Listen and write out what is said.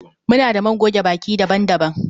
Muna da man goge baki daban-daban